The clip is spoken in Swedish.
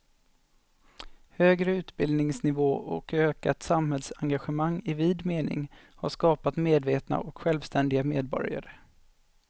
Högre utbildningsnivå och ökat samhällsengagemang i vid mening har skapat medvetna och självständiga medborgare.